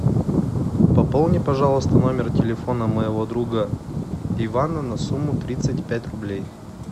пополни пожалуйста номер телефона моего друга ивана на сумму тридцать пять рублей